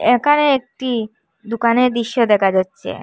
একানে একটি দোকানের দৃশ্য দেখা যাচ্চে।